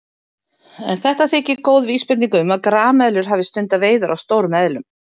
En þetta þykir góð vísbending um að grameðlur hafi stundað veiðar á stórum eðlum.